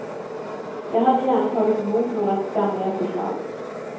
Jag hade gärna tagit emot några skamliga förslag.